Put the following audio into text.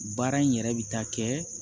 Baara in yɛrɛ bɛ taa kɛ